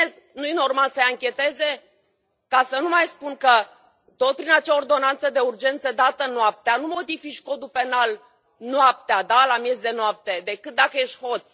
Nu este normal să îi ancheteze? Ca să nu mai spun că, tot prin acea ordonanță de urgență, dată noaptea, nu modifici Codul penal noaptea, la miez de noapte, decât dacă ești hoț.